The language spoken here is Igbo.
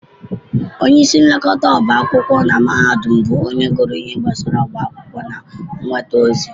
Onyeisi nlekọta ọbá akwụkwọ na mahadum bụ onye gụrụ ihe gbasara ọbá akwụkwọ na nnweta ozi